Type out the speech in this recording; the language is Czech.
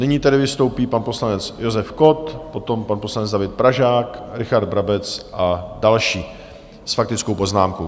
Nyní tedy vystoupí pan poslanec Josef Kott, potom pan poslanec David Pražák, Richard Brabec a další s faktickou poznámkou.